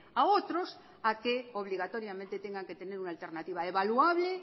a otros a que obligatoriamente tengan que tener una alternativa evaluable